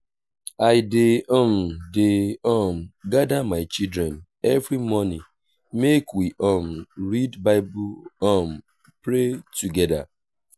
i dey um dey um gada my children every morning make we um read bible um pray togeda.